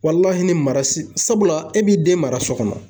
ni mara sabula e b'i den mara so kɔnɔ .